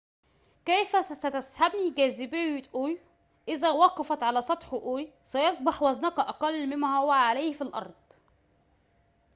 كيف ستسحبني جاذبية أيو إذا وقفت على سطح أيو سيصبح وزنك أقل مما هو عليه على الأرض